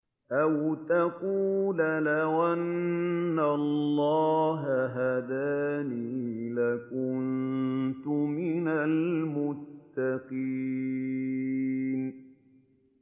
أَوْ تَقُولَ لَوْ أَنَّ اللَّهَ هَدَانِي لَكُنتُ مِنَ الْمُتَّقِينَ